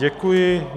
Děkuji.